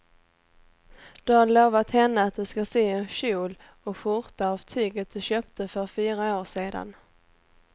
Du har lovat henne att du ska sy en kjol och skjorta av tyget du köpte för fyra år sedan.